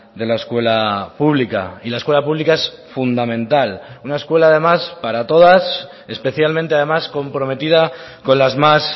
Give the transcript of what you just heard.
de la escuela pública y la escuela pública es fundamental una escuela además para todas especialmente además comprometida con las más